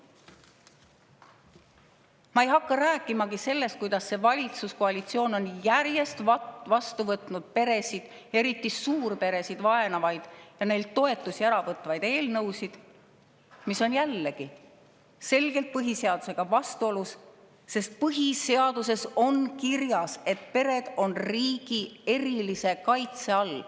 Ma ei hakka rääkimagi sellest, kuidas see valitsuskoalitsioon on järjest vastu võtnud peresid, eriti suurperesid, vaenavaid ja neilt toetusi ära võtvaid eelnõusid, mis on jällegi selgelt põhiseadusega vastuolus, sest põhiseaduses on kirjas, et pered on riigi erilise kaitse all.